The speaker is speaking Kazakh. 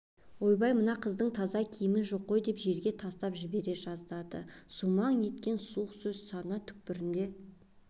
ойбай мынаның таза киімі жоқ қой деп жерге тастап жібере жаздады сумаң еткен суық сөз сана түкпірінде